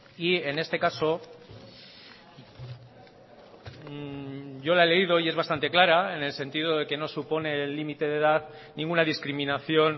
y en este caso yo la he leído y es bastante clara en el sentido de que no supone el límite de edad ninguna discriminación